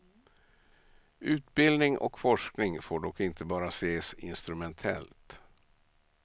Utbildning och forskning får dock inte bara ses instrumentellt.